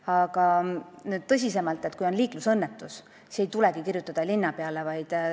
Aga nüüd tõsisemalt, kui on liiklusõnnetus, siis ei tulegi kirjutada linnapeale.